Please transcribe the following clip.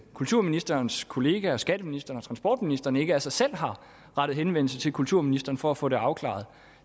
kulturministerens kollegaer skatteministeren og transportministeren ikke af sig selv har rettet henvendelse til kulturministeren for at få det afklaret